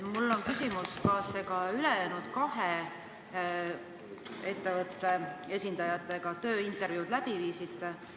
Mul on küsimus: kas te ka ülejäänud kahe ettevõtte esindajatega tööintervjuud läbi viisite?